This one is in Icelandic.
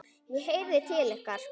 ég heyrði til ykkar!